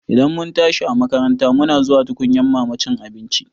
Idan mun tashi a makaranta muna zuwa tukunyan mama cin abinci